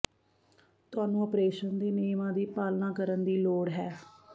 ਤੁਹਾਨੂੰ ਆਪਰੇਸ਼ਨ ਦੇ ਨਿਯਮਾਂ ਦੀ ਪਾਲਣਾ ਕਰਨ ਦੀ ਲੋੜ ਹੈ